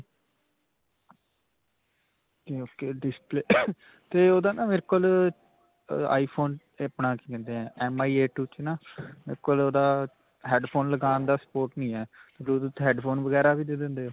ok ok. display 'ਤੇ ਓਹਦਾ ਨਾਂ ਮੇਰੇ ਕੋਲ ਅਅ iphone 'ਤੇ ਆਪਣਾ ਕੀ ਕਹਿੰਦੇ ਹੈ MI A two 'ਚ ਨਾਂ ਮੇਰੇ ਕੋਲ ਓਹਦਾ headphone ਲਗਾਉਣ ਦਾ spot ਨਹੀਂ ਹੈ bluetooth headphone ਵਗੈਰਾ ਵੀ ਦੇ ਦਿੰਦੇ ਹੋ?